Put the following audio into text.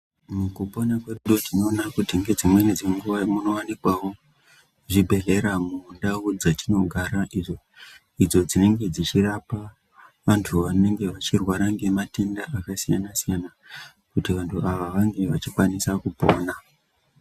Mukupona kwedu tinoona kiti ngedzimweni dzenguva munowanikwavo zvibhedhlera mundau dzatinogara, idzo dzinenge zvichirapa vantu vanenge vachirwara ngematenda akasiyana-siyana kuti vantu ava vange vachikwanisa kupona.